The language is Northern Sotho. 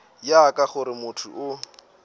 ya ka gore motho o